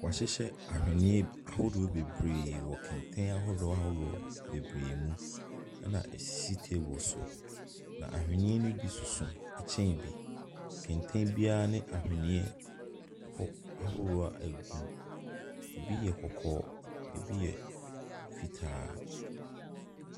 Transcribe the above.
Woahyehyɛ ahweneɛ ahodoɔ beberee wɔ kɛntɛn ahodoɔ ahodoɔ bebree mu. Ɛna esisi teebol so. Na ahweneɛ ne bi soso ɛkyɛn bi. Kɛntɛn biaa ne ahweneɛ ahorow a egum. Ebi yɛ kɔkɔɔ, ebi yɛ fitaa.